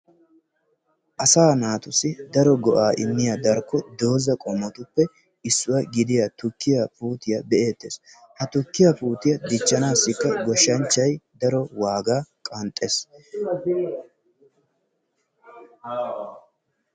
asaa naatussi daro go"aa immiyaa darkko dooza qommotuppe issuwaa gidiyaa tukkiyaa puutiyaa be'ettees. ha tukkiyaa dichchaanasi goshshanchchay daro waagaa qanxxees.